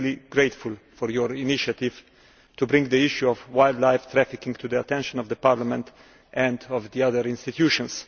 I am grateful for your initiative to bring the issue of wildlife trafficking to the attention of Parliament and the other institutions.